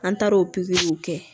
An taar'o pikiriw kɛ